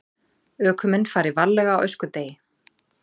Ökumenn fari varlega á öskudegi